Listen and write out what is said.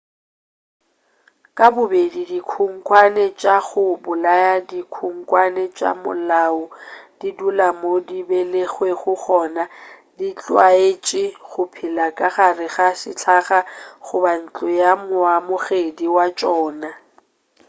ka bobedi dikhunkhwane tša go bolaya le dikhunkhwane tša malao di dula mo di belegwego gona di tlwaetše go phela ka gare ga sehlaga goba ntlo ya moamogedi wa tšona